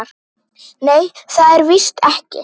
Nei, það er víst ekki.